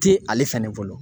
Ti ale fɛnɛ bolo